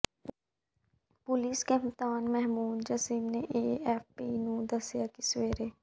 police ਕਪਤਾਨ Mahmoud Jasim ਨੇ AFP ਨੂੰ ਦੱਸਿਆ ਕਿ ਸਵੇਰੇ